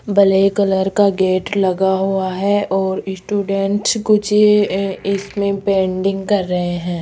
Black colour का gate लगा हुआ है और स्टूडेंट्स कुछ इसमें पेंटिंग कर रहे हैं।